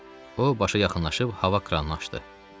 O, başa yaxınlaşıb hava kranını açdı.